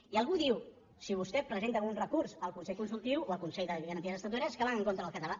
i algú diu si vostè presenta un recurs al consell consultiu o al consell de garanties estatutàries és que van en contra del català